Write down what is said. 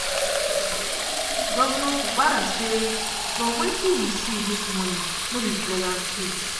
governor fubara say "from wetin we see dis morning no be pleasant case.